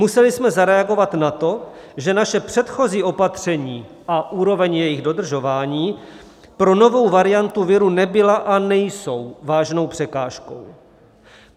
Museli jsme zareagovat na to, že naše předchozí opatření a úroveň jejich dodržování pro novou variantu viru nebyla a nejsou vážnou překážkou.